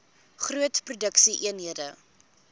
groot produksie eenhede